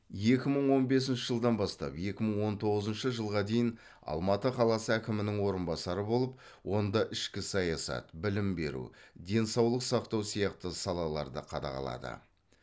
екі мың он бесінші жылдан бастап екі мың он тоғызыншы жылға дейін алматы қаласы әкімінің орынбасары болып онда ішкі саясат білім беру денсаулық сақтау сияқты салаларды қадағалады